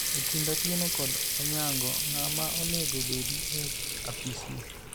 e kind Atieno kod Onyango ,ng'ama onego bedi e apis ni?